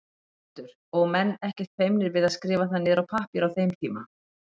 Sighvatur: Og menn ekkert feimnir við að skrifa það niður á pappír á þeim tíma?